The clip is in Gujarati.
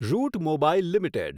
route Mobile limited